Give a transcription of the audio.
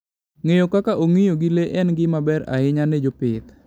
Ng'eyo kaka ong'iyo gi le en gima ber ahinya ne jopith.